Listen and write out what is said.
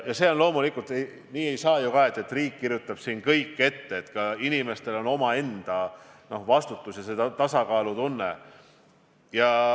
Ja loomulikul nii ka ei saa ju, et riik kirjutab kõik ette, inimestel peab olema omaenda vastutus- ja tasakaalutunne.